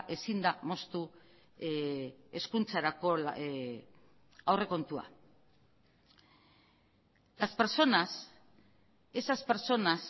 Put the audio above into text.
ezin da moztu hezkuntzarako aurrekontua las personas esas personas